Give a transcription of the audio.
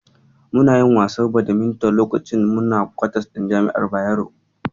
Muna yin wasan Badminton lakacin da muna kwatas ɗin jami'ar Bayero.